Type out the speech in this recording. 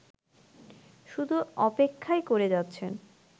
শুধু অপেক্ষাই করে যাচ্ছেন